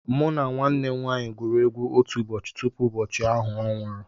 Mụ na nwanne nwaanyị gwuru egwu otu ụbọchị tupu ụbọchị ahụ ọ nwụrụ